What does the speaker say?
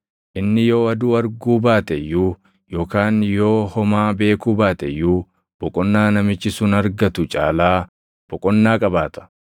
Inni yoo aduu arguu baate iyyuu yookaan yoo homaa beekuu baate iyyuu boqonnaa namichi sun argatu caalaa boqonnaa qabaata.